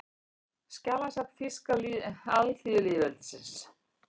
Skjalasafn Þýska alþýðulýðveldisins